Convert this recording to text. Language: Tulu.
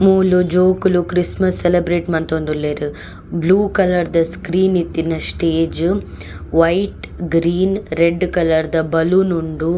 ಮೂಲು ಜೋಕುಲು ಕ್ರಿಸ್ಸ್ಮಸ್ಸ್ ಸೆಲೆಬ್ರೇಟ್ ಮಂತೊಂದುಲ್ಲೆರ್ ಬ್ಲೂ ಕಲರ್ದ ಸ್ಕ್ರೀನ್ ಇತ್ತಿನ ಸ್ಟೇಜ್ ವೈಟ್ ಗ್ರೀನ್ ರೆಡ್ಡ್ ಕಲರ್ದ ಬಲೂನ್ ಉಂಡು.